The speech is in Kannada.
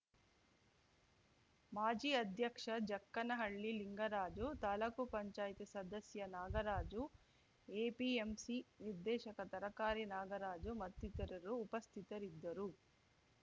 ಮಾಜಿ ಅಧ್ಯಕ್ಷ ಜಕ್ಕನಹಳ್ಳಿ ಲಿಂಗರಾಜು ತಾಲೂಕುಪಂಚಾಯತಿ ಸದಸ್ಯ ನಾಗರಾಜು ಎಪಿಎಂಸಿ ನಿರ್ದೇಶಕ ತರಕಾರಿ ನಾಗರಾಜು ಮತ್ತಿತರರು ಉಪಸ್ಥಿತರಿದ್ದರು